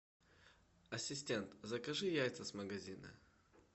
ассистент закажи яйца с магазина